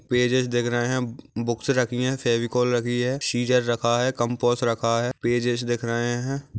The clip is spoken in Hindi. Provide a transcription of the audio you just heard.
पेजेज दिख रहे है बूक्सेस रखी है फेविकोल रखी है स्सिस्सर रखा है कंपास रखा है पेजेज दिख रहे है।